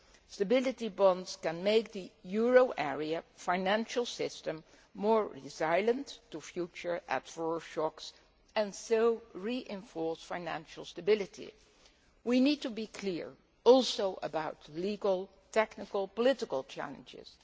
Stability bonds can make the euro area financial system more resilient to future adverse shocks and so reinforce financial stability. We also need to be clear about legal, technical and political challenges.